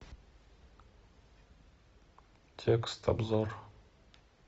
текст обзор